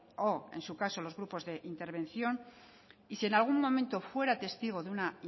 o en su caso los grupos de intervención y si en algún momento fuera testigo de una